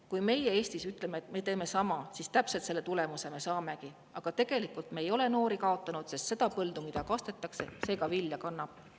Kui meie Eestis ütleme, et me teeme sama, siis täpselt selle tulemuse me saamegi, aga tegelikult me ei ole noori kaotanud, sest see põld, mida kastetakse, ka vilja kannab.